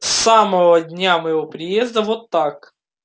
с самого дня моего приезда вот как